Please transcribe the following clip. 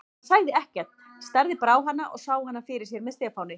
En hann sagði ekkert, starði bara á hana og sá hana fyrir sér með Stefáni.